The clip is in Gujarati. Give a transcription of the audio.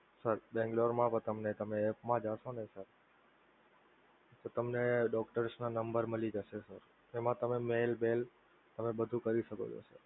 sir બંગલોરમાં પણ તમે app મા જાસો ને તો તમને doctors ના number મળી જસે તો એમા તમે mail બેઇલ તમે બધુ કરી શકો છો.